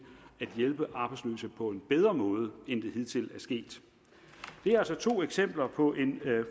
at hjælpe arbejdsløse på en bedre måde end det hidtil er sket det er altså to eksempler på en